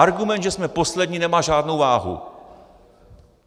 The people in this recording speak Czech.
Argument, že jsme poslední, nemá žádnou váhu.